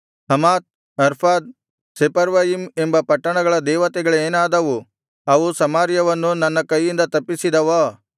Hamath Arpad Sepharvaim ಎಂಬ ಪಟ್ಟಣಗಳ ದೇವತೆಗಳೇನಾದವು ಅವು ಸಮಾರ್ಯವನ್ನು ನನ್ನ ಕೈಯಿಂದ ತಪ್ಪಿಸಿದವೋ